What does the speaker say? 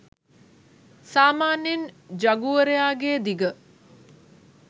සාමාන්‍යයෙන් ජගුවරයා ගේ දිග